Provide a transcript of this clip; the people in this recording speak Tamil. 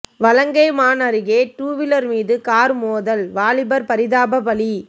வலங்கைமான் அருகே டூவீலர் மீது கார் மோதல் வாலிபர் பரிதாப பலி